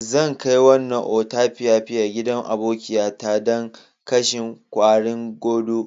Zan kai wannan otapiapian gidan abokiya ta dan kashen kwarin godo.